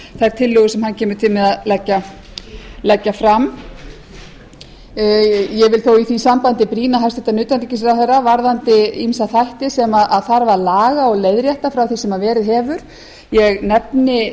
þær tillögur sem hann kemur til með að leggja fram ég vil þó í því sambandi brýna hæstvirts utanríkisráðherra varðandi ýmsa þætti sem þarf að laga og leiðrétta frá því sem verið hefur ég nefni